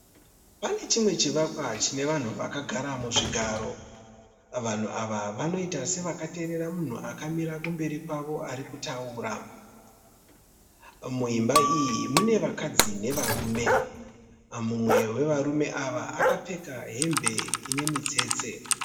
Pane chimwe chivakwa chine vanhu vakagara muzvigaro. Vanhu ava vanoita sevakateeerera munhu akamira kumberi kwavo ari kutaura . Muimba iyi mune vakadzi nevarume. Mumwe wevarume ava akapfeka hembe inemitstse.